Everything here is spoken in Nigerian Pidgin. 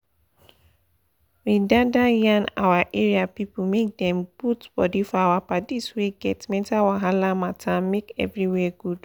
we da da yan our area people make dem put body for our padis wey get mental wahala matter make everywhere good